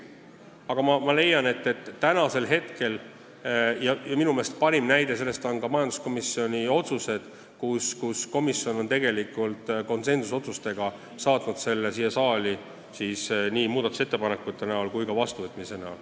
Aga tänasel hetkel on see hea eelnõu ja minu meelest parim tõestus sellele on majanduskomisjoni otsused: komisjon on konsensusotsustega saatnud eelnõu siia saali ning kiitnud oma istungil heaks nii muudatusettepanekud kui ka ettepaneku eelnõu vastu võtta.